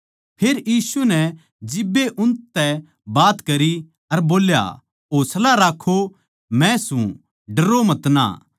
फेर यीशु नै जिब्बे उनतै बात करी अर बोल्या हौसला राक्खो मै सूं डरो मतना